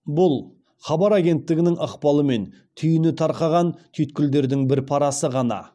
бұл хабар агенттігінің ықпалымен түйіні тарқаған түйткілдердің бір парасы ғана